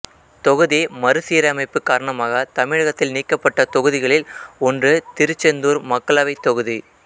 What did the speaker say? தொகுதி மறு சீரமைப்பு காரணமாக தமிழகத்தில் நீக்கப்பட்ட தொகுதிகளில் ஒன்று திருச்செந்தூர் மக்களவைத் தொகுதி